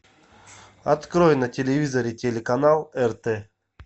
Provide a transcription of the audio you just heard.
открой на телевизоре телеканал рт